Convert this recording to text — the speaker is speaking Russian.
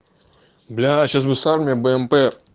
бляя сейчас мы сами бмп